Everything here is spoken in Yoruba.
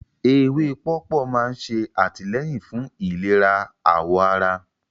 Ewé pọ̀pọ́ máa ń ṣe àtìlẹ́yìn fún ìlera àwọ̀ ará